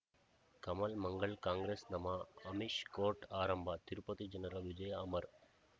ಕಮಲ್ ಮಂಗಳ್ ಕಾಂಗ್ರೆಸ್ ನಮಃ ಅಮಿಷ್ ಕೋರ್ಟ್ ಆರಂಭ ತಿರುಪತಿ ಜನರ ವಿಜಯ ಅಮರ್